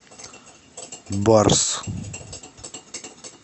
барс